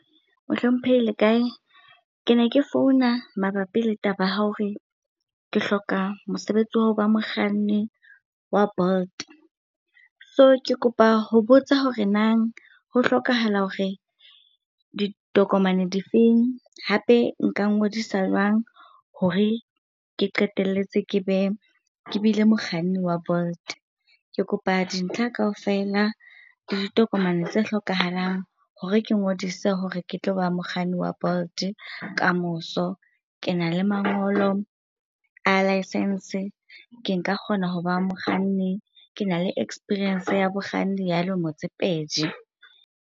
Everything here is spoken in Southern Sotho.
Mohlomphehi le kae? Ke ne ke founa mabapi le taba ya hore ke hloka mosebetsi wa ho ba mokganni wa Bolt. So, ke kopa ho botsa hore nang ho hlokahala hore ditokomane difeng? Hape nka ngodisa jwang hore ke qeteletse ke be, ke bile mokganni wa Bolt. Ke kopa dintlha kaofela le ditokomane tse hlokahalang hore ke ngodise hore ke tlo ba mokganni wa Bolt kamoso. Ke na le mangolo a license, ke nka kgona ho ba mokganni, ke na le experience ya bokganni ya lemo tse pedi.